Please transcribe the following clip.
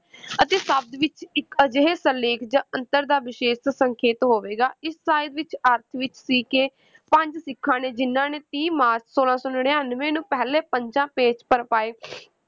ਅਤੇ ਸ਼ਬਦ ਵਿੱਚ ਇੱਕ ਅਜਿਹੇ ਸਿਰਲੇਖ ਜਾਂ ਅੰਤਰ ਦਾ ਵਿਸ਼ੇਸ਼ ਸੰਕੇਤ ਹੋਵੇਗਾ, ਇਸ ਸ਼ਾਇਦ ਵਿੱਚ ਅਰਥ ਵਿੱਚ ਸੀ ਕਿ ਪੰਜ ਸਿੱਖਾਂ ਨੇ ਜਿਨ੍ਹਾਂ ਨੇ ਤੀਹ ਮਾਰਚ ਛੋਲਾਂ ਸੌ ਨੜ੍ਹਿਨਵੇਂ ਨੂੰ ਪਹਿਲੇ ਪੰਜਾਂ